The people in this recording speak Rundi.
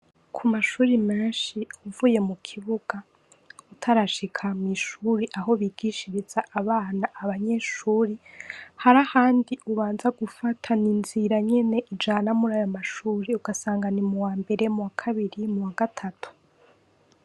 Kumashure menshi uvuye mukibuga utarashika mw'ishure Aho bigishiriza abana abanyeshure harahandi ubanza gufataninzira nyene ujana murayo mashure ugasanga ni m'uwambere, m'uwakabiri, m'uwagatatu.